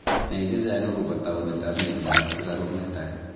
nai chechang akopo taunet ap mianda ap sugaruk netai